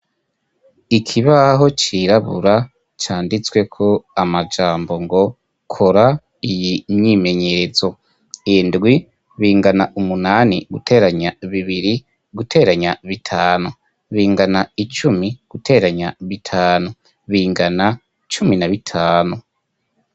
Ikibaho cirabura canditswe ko amajambo ngo kora iyi myimenyerezo indwi bingana umunani guteranya bibiri guteranya bitanu bingana icumi guteranya bitanu bingana cumi na bitanu.